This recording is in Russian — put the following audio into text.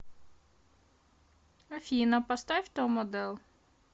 афина поставь том оделл